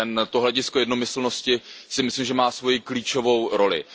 To hledisko jednomyslnosti, si myslím, že má svoji klíčovou roli.